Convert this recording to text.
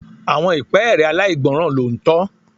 Àwọn ìpẹ́ẹ́rẹ́ aláìgbọ́ràn ló ń tọ.